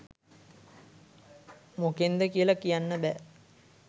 මොකෙන්ද කියල කියන්න බෑ.